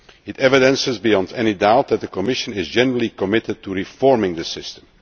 protection. It demonstrates beyond any doubt that the Commission is generally committed to reforming